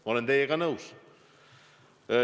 Ma olen teiega nõus.